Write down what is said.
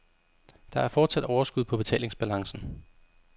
Der er fortsat overskud på betalingsbalancen.